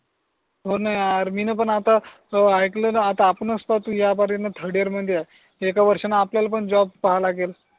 हो णा यार मीन पण आता आयकल णा आता आपणच पाय तु या बारिण थर्ड इयर मध्ये आहे एका वर्षान आपल्याला पण जॉब पाहा लागेल